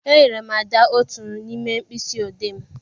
E nyere m Ada otu n'ime mkpịsị odee m.